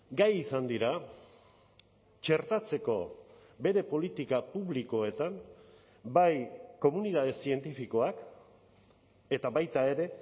gai izan dira txertatzeko bere politika publikoetan bai komunitate zientifikoak eta baita ere